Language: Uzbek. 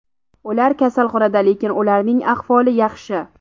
Ular kasalxonada, lekin ularning ahvoli yaxshi.